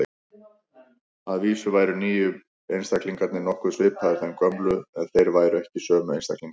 Að vísu væru nýju einstaklingarnir nokkuð svipaðir þeim gömlu, en þeir væru ekki sömu einstaklingarnir.